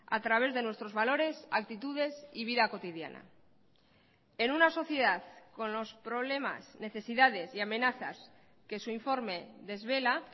a través de nuestros valores actitudes y vida cotidiana en una sociedad con los problemas necesidades y amenazas que su informe desvela